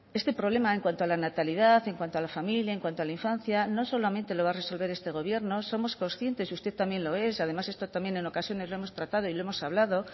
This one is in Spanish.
este problema en cuanto a la natalidad en cuanto a la familia en cuanto a la infancia no solamente lo va a resolver este gobierno somos conscientes usted también lo es y además esto en ocasiones lo hemos tratado y lo hemos hablado